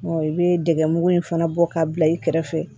i bɛ dɛgɛ mugu in fana bɔ k'a bila i kɛrɛfɛ